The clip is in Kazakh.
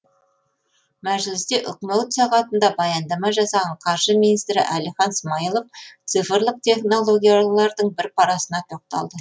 мәжілісте үкімет сағатында баяндама жасаған қаржы министрі әлихан смайылов цифрлық технологиялардың бір парасына тоқталды